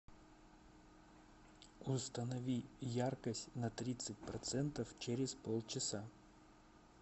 установи яркость на тридцать процентов через полчаса